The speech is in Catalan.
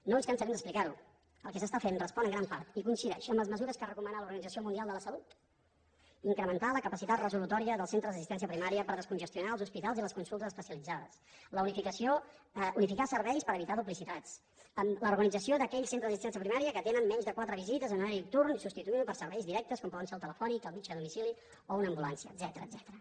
no ens cansarem d’explicar ho el que s’està fent respon en gran part i coincideix amb les mesures que recomana l’organització mundial de la salut incrementar la capacitat resolutòria dels centres d’assistència primària per descongestionar els hospitals i les consultes especialitzades unificar serveis per evitar duplicitats l’organització d’aquells centres d’assistència primària que tenen menys de quatre visites en horari nocturn i substituint ho per serveis directes com poden ser el telefònic el metge a domicili o una ambulància etcètera